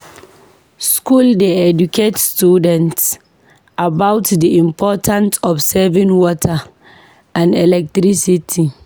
Schools dey educate students about the importance of saving water and electricity.